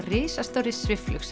risastóra